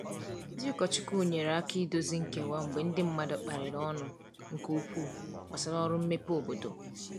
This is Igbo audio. Ndị ụkọchukwu nyere aka idozi nkewa mgbe ndi mmadụ kparịrị ọnụ nke ukwuu gbasara ọrụ mmepe obodo.